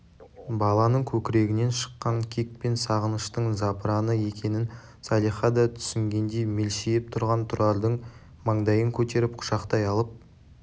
баланың көкірегінен шыққан кек пен сағыныштың запыраны екенін салиха да түсінгендей мелшиіп тұрған тұрардың маңдайын көтеріп құшақтай алып